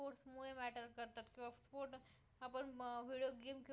आपण मग video game खेळतो